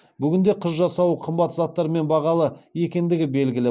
бүгінде қыз жасауы қымбат заттарымен бағалы екендігі белгілі